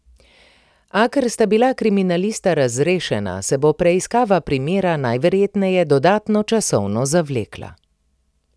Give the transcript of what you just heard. A ker sta bila kriminalista razrešena, se bo preiskava primera najverjetneje dodatno časovno zavlekla.